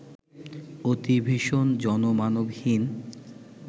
অতি ভীষণ, জনমানবহীন